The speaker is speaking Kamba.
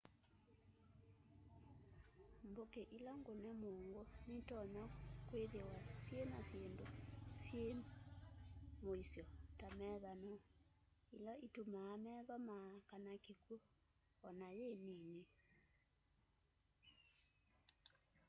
mbuki ila ngune muungu nitonya kwithiwa syina syindu syi muisyo ta methanoo ila itumaa metho maa kana kikwu ona yi nini